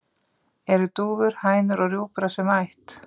Eru dúfur, hænur og rjúpur af sömu ætt?